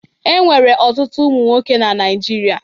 E nwere ọtụtụ ụmụ nwoke na Naịjirịa.